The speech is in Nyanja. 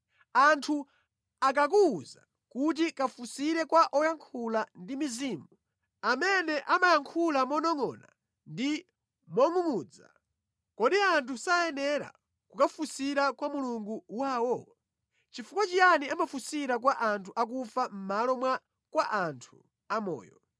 Anthu akakuwuza kuti kafunsire kwa oyankhula ndi mizimu, amene amayankhula monongʼona ndi mongʼungʼudza, kodi anthu sayenera kukafunsira kwa Mulungu wawo? Chifukwa chiyani amafunsira kwa anthu akufa mʼmalo mwa kwa anthu amoyo,